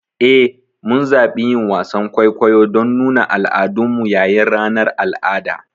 Eh, mun zaɓi yin wasan kwaikwayo don nuna al'adunmu yayin ranar al'ada.